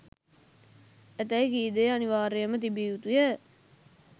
ඇතැයි කී දෙය අනිවාර්යයෙන්ම තිබිය යුතු ය.